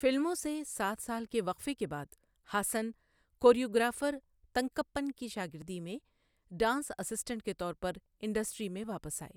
فلموں سے سات سال کے وقفے کے بعد ہاسن کوریوگرافر تنکپّن کی شاگردی میں ڈانس اسسٹنٹ کے طور پر انڈسٹری میں واپس آئے۔